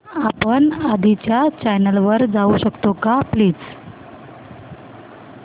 आपण आधीच्या चॅनल वर जाऊ शकतो का प्लीज